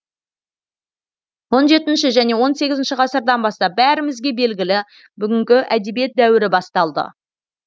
он жетінші және он сегізінші ғасырдан бастап бәрімізге белгілі бүгінгі әдебиет дәуірі басталды